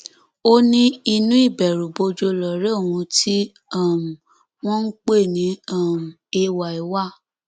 ó ní inú ìbẹrùbojo lọrẹ òun tí um wọn ń pè ní um ay wà